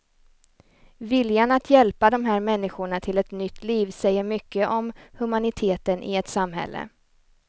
Viljan att hjälpa de här människorna till ett nytt liv säger mycket om humaniteten i ett samhälle.